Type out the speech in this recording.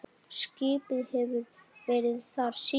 Skipið hefur verið þar síðan.